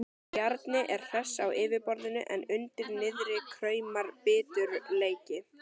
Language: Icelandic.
Bjarni er hress á yfirborðinu en undir niðri kraumar biturleiki.